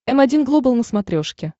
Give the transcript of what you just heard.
м один глобал на смотрешке